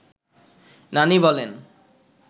নানি বলেন